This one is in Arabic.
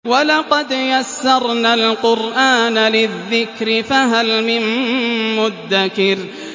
وَلَقَدْ يَسَّرْنَا الْقُرْآنَ لِلذِّكْرِ فَهَلْ مِن مُّدَّكِرٍ